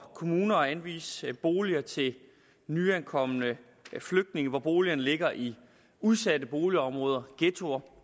kommuner at anvise boliger til nyankomne flygtninge hvor boligerne ligger i udsatte boligområder ghettoer